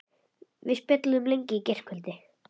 Við spjölluðum lengi í gærkvöldi.